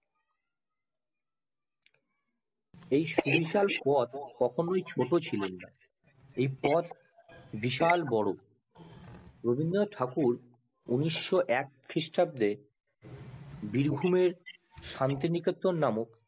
কখনোই ছোট ছিলো না এই পদ বিশাল বড় রবীন্দ্রনাথ ঠাকুর উনিশশো এক খিরিস্টাব্দে বীরভূমে শান্তিনিকেতন নামক